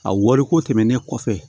A wariko tɛmɛnen kɔfɛ